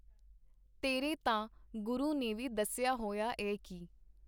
ਤੇਰੇ ਤਾਂ ਗੁਰੂ ਨੇ ਵੀ ਦੱਸਿਆ ਹੋਇਆ ਏ ਕੀ.